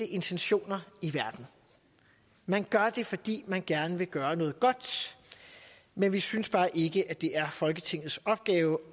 intentioner i verden man gør det fordi man gerne vil gøre noget godt men vi synes bare ikke at det er folketingets opgave